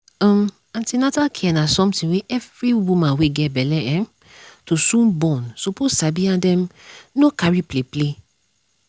um an ten atal care na something wey every woman wey get belle um to soon born suppose sabi and um no carry play. play.